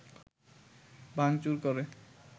ভাঙচুর করে